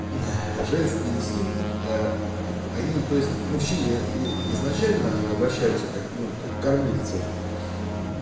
женский инстинкт они то есть к мужчине и изначально обращаются как ну как к кормильцу